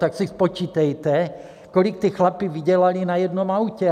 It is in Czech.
Tak si spočítejte, kolik ti chlapi vydělali na jednom autě.